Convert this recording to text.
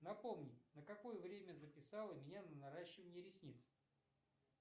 напомни на какое время записала меня на наращивание ресниц